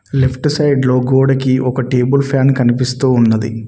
Left side లో గోడకి ఒక టేబుల్ ఫ్యాన్ కనిపిస్తూ ఉన్నది.